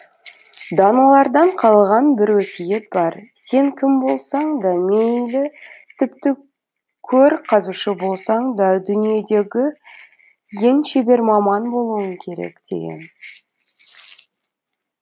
даналардан қалған бір өсиет бар сен кім болсаң да мейлі тіпті көр қазушы болсаң да дүниедегі ең шебер маман болуың керек деген